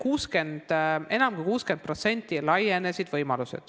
Võimalused on laienenud enam kui 60%.